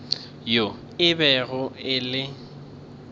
yo e bego e le